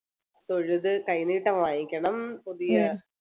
തൊഴുത് കൈനീട്ടം വാങ്ങിക്കണം പുതിയ